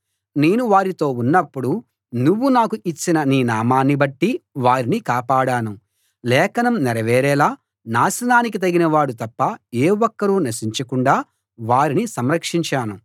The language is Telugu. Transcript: నేను వారితో ఉన్నప్పుడు నువ్వు నాకు ఇచ్చిన నీ నామాన్ని బట్టి వారిని కాపాడాను లేఖనం నెరవేరేలా నాశనానికి తగినవాడు తప్ప ఏ ఒక్కరూ నశించకుండా వారిని సంరక్షించాను